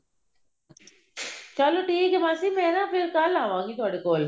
ਚਲੋ ਠੀਕ ਹੈ ਮਾਸੀ ਮੈਂ ਨਾ ਫ਼ੇਰ ਕੱਲ ਆਵਾਂਗੀ ਤੁਹਾਡੇ ਕੋਲ